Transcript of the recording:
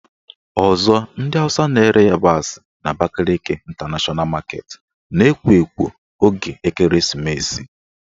Ọzọ ndị Awụsa na-ere ịyabasị n' Abakaliki Ịntanashọna Maketi na-ekwo ekwo oge ekereesimesi